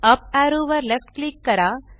up arrow वर left click करा